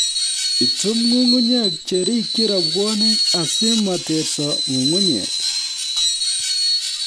Itum nyung'unyek che rikchin rabwonik asimeterso nyung'unyek